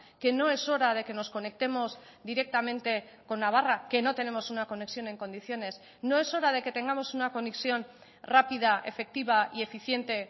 que no es hora de que nos conectemos directamente con navarra que no tenemos una conexión en condiciones no es hora de que tengamos una conexión rápida efectiva y eficiente